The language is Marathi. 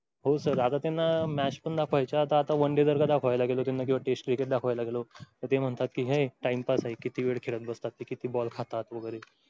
हो sir आता त्यानां match पण दाखवायच्या आता one day जर का दाखवायला गेलो किंवा test cricket दाखवायला गेलो. तर ते म्हणतात कि हे time pass आहे. किती वेळ खेळत बसतात ते किती ball खातात वगैरे.